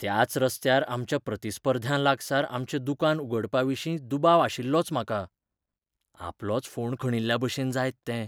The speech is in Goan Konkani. त्याच रस्त्यार आमच्या प्रतिस्पर्ध्यां लागसार आमचें दुकान उगडपाविशीं दुबाव आशिल्लोच म्हाका. आपलोच फोंड खणिल्ल्याभशेन जायत तें.